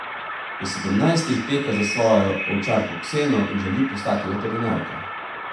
Pri sedemnajstih teka za svojo ovčarko Kseno in želi postati veterinarka.